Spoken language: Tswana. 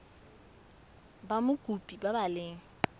ba mokopi ba ba leng